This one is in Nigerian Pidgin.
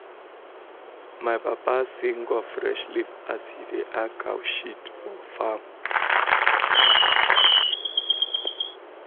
my papa sing of fresh leaf as he da add cow shit for farm